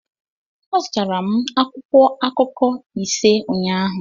Azụtara m akwụkwọ akụkọ ise ụnyaahụ